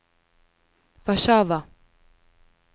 Warszawa